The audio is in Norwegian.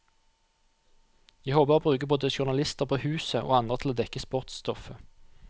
Jeg håper å bruke både journalister på huset, og andre til å dekke sportsstoffet.